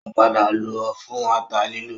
Ó padà lọ fún ata lílọ